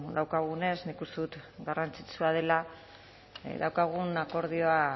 daukagunez nik uste dut garrantzitsua dela daukagun akordioa